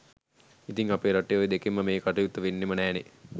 ඉතිං අපේ රටේ ඔය දෙකෙන්ම මේ කටයුත්ත වෙන්නෙම නෑනේ